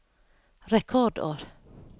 rekordår